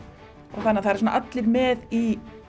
og það eru allir með í